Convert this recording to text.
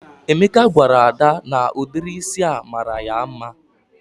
Emeka gwara Ada na ụdịrị ísì a mara ya mma